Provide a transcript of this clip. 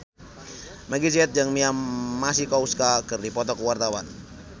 Meggie Z jeung Mia Masikowska keur dipoto ku wartawan